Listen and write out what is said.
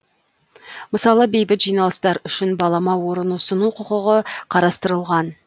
мысалы бейбіт жиналыстар үшін балама орын ұсыну құқығы қарастырылған